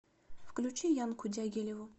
включи янку дягилеву